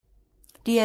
DR2